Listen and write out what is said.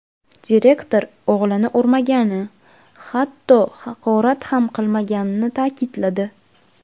Direktor o‘g‘lini urmagani, hatto haqorat ham qilmaganini ta’kidladi.